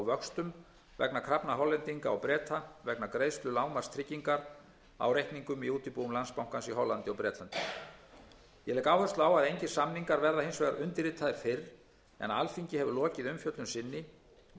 vöxtum vegna krafna hollendinga og breta vegna greiðslu lágmarkstryggingar á reikningum í útibúum landsbankans í hollandi og bretlandi ég legg áherslu á að engir samningar verða hins vegar undirritaðir fyrr en alþingi hefur lokið umfjöllun sinni og